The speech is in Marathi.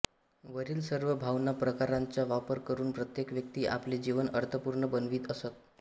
वरील सर्व भावना प्रकारांचा वापर करून प्रत्येक व्यक्ती आपले जीवन अर्थपूर्ण बनवीत असते